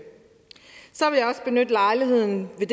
så vil jeg også benytte lejligheden til